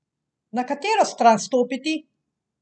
Na katero stran stopiti?